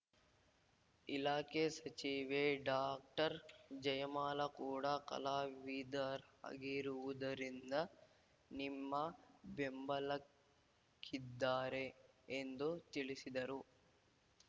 ಇಲಾಖೆ ಸಚಿವೆ ಡಾಕ್ಟರ್ಜಯಮಾಲ ಕೂಡ ಕಲಾವಿದರಾಗಿರುವುದರಿಂದ ನಿಮ್ಮ ಬೆಂಬಲಕ್ಕಿದ್ದಾರೆ ಎಂದು ತಿಳಿಸಿದರು